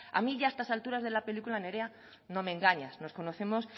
a mí ya a estas altura de la película nerea no me engañas nos conocemos